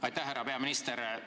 Aitäh, härra peaminister!